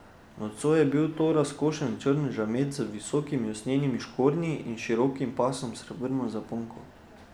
Nocoj je bil to razkošen črn žamet z visokimi usnjenimi škornji in širokim pasom s srebrno zaponko.